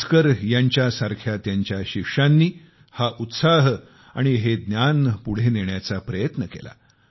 भास्कर यांच्यासारख्या त्यांच्या शिष्यांनी ही प्रेरणा आणि हे ज्ञान पुढे नेण्याचा प्रयत्न केला